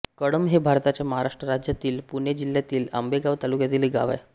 कळंब हे भारताच्या महाराष्ट्र राज्यातील पुणे जिल्ह्यातील आंबेगाव तालुक्यातील एक गाव आहे